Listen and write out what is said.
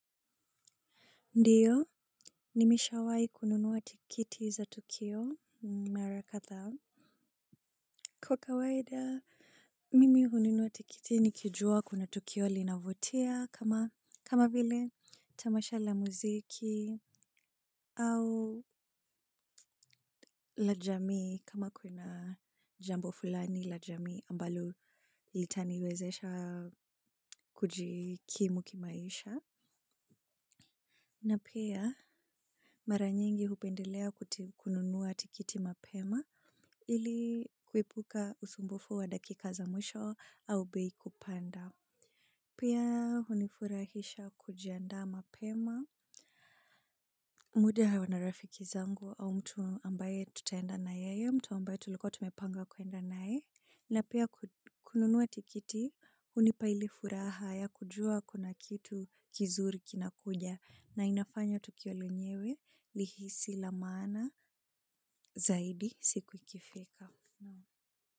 Ndiyo, nimishawai kununua tikiti za tukio, mara katha. Kwa kawaida, mimi kununua tikiti nikijua kuna tukio linavutia kama vile tamasha la muziki au lajami kama kuna jambo fulani lajami ambalo litaniwezesha kujikimu kimaisha. Napia, mara nyingi hupendelea kununua tikiti mapema. Ili kuepuka usumbufu wa dakika za mwisho au bei kupanda. Pia hunifurahisha kujianda mapema. Mudi au na rafiki zangu au mtu ambaye tutaenda na yeye, mtu ambaye tulikua tumepanga kuenda naye. Na pia kununua tikiti hunipa ile furaha ya kujua kuna kitu kizuri kinakuja na inafanya tukio lenyewe lihisi la maana zaidi siku ikifika.